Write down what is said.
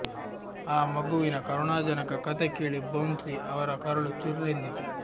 ಆ ಮಗುವಿನ ಕರುಣಾಜನಕ ಕಥೆ ಕೇಳಿ ಬೌನ್ಸಿ ಅವರ ಕರುಳು ಚುರ್ರೆಂದಿತ್ತು